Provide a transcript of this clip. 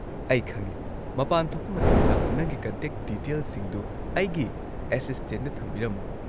ꯑꯩ ꯈꯪꯉꯤ꯫ ꯃꯄꯥꯟ ꯊꯣꯛꯄ ꯃꯇꯝꯗ ꯅꯪꯒꯤ ꯀꯟꯇꯦꯛ ꯗꯤꯇꯦꯜꯁꯤꯡꯗꯨ ꯑꯩꯒꯤ ꯑꯦꯁꯤꯁꯇꯦꯟꯗ ꯊꯝꯕꯤꯔꯝꯃꯨ꯫